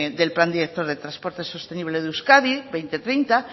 del plan director de transporte sostenible de euskadi dos mil treinta